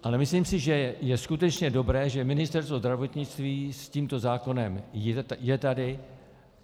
Ale myslím si, že je skutečně dobré, že Ministerstvo zdravotnictví s tímto zákonem je tady.